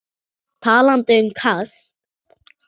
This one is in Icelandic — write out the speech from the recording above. Talandi um kast.